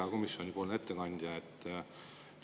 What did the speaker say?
Hea komisjoni ettekandja!